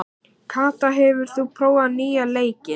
Kata, hefur þú prófað nýja leikinn?